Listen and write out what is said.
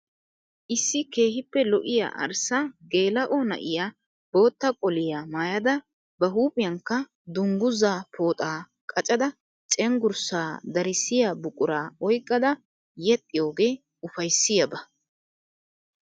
Isso keehippe lo'iya arssa geela'o na'iya bootta qoliya maayada ba huuphiyankka dunguzaa pooxaa qaccada cengurssa darissiya buquraa oyiqada yexxiyoge ufayissiyaaba.